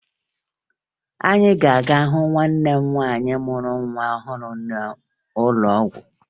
Anyị ga-aga hụ nwanne m nwaanyị mụrụ nwa ọhụrụ n'ụlọ ọgwụ